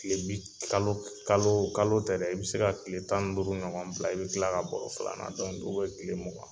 Tile bi kalo k kaloo kalo tɛ dɛ, i be se ka tile tan ni duuru ɲɔgɔn bila i be tila ka bɔrɔ filannan dow be ye tile mugan.